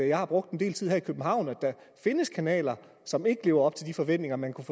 jeg har brugt en del tid her i københavn at der findes kanaler som ikke lever op til de forventninger man kunne